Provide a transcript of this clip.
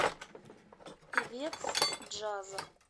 певец джаза